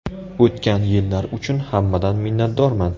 O‘tgan yillar uchun hammadan minnatdorman.